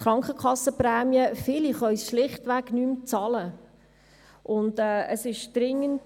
Viele können diese schlichtweg nicht mehr bezahlen.